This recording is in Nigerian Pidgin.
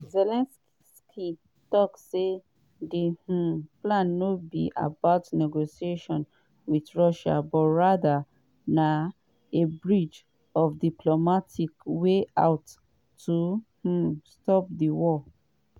zelensky tok say di um plan no be about negotiating wit russia but rather na "a bridge to a diplomatic way out to um stop di war".